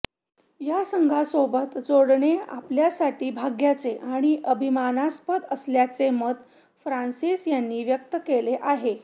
या संघासोबत जोडणे आपल्यासाठी भाग्याचे आणि आभिमानास्पद असल्याचे मत फ्रान्सिस यांनी व्यक्त केले आहे